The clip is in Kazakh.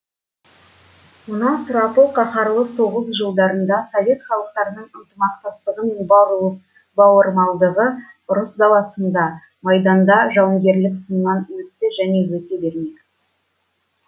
мына сұрапыл қаһарлы соғыс жылдарында совет халықтарының ынтымақтастығы мен бауырмалдығы ұрыс даласында майданда жауынгерлік сыннан өтті және өте бермек